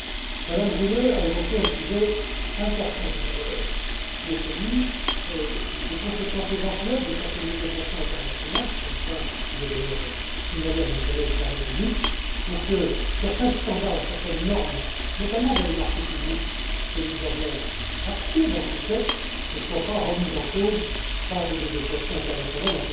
Mme Rühle a évoqué un sujet important, tout à l'heure, qui est celui des conséquences éventuelles de certaines négociations internationales c'est un point que j'ai d'ailleurs signalé à mon collègue Karel De Gucht pour que certains standards ou certaines normes, notamment dans les marchés publics, que nous avons actés dans ces textes, ne soient pas remis en cause par des négociations internationales.